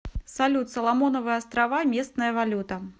салют соломоновы острова местная валюта